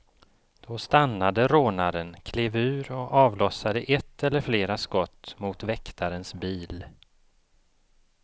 Då stannade rånaren, klev ur och avlossade ett eller flera skott mot väktarens bil.